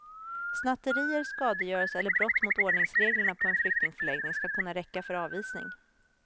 Snatterier, skadegörelse eller brott mot ordningsreglerna på en flyktingförläggning skall kunna räcka för avvisning.